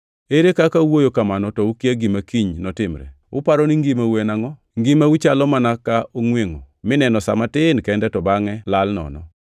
Ere kaka uwuoyo kamano to ukia gima kiny notimre. Uparo ni ngimau en angʼo? Ngimau chalo mana ka ongʼwengʼo mineno sa matin kende to bangʼe lal nono.